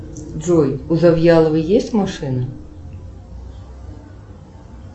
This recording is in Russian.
джой у завьяловой есть машина